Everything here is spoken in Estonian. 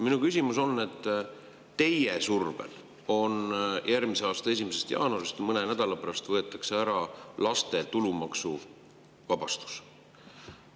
Minu küsimus on selle kohta, et teie survel võetakse järgmise aasta 1. jaanuarist, mõne nädala pärast, ära maksuvaba laste.